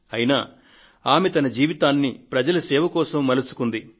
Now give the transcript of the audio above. అయినా ఆమె తన జీవితాన్ని ప్రజల సేవ కోసం మలుచుకున్నారు